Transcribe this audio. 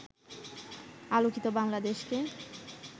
আলোকিত বাংলাদেশকে